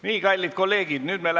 Nii, kallid kolleegid!